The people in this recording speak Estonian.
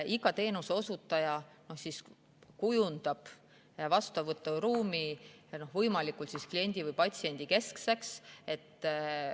Iga teenuseosutaja kujundab vastuvõturuumi võimalikult kliendi‑ või patsiendikeskseks.